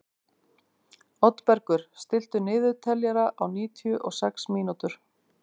Oddbergur, stilltu niðurteljara á níutíu og sex mínútur.